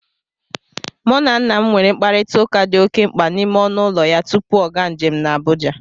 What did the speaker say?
Mụ na nna m nwere mkparịtaụka dị oke mkpa n' ime ọnụ ụlọ ya tupu ọ gaa njem n' Abụja